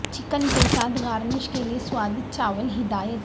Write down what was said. chicken کے ساتھ garnish کے لئے سوادج چاول ہدایت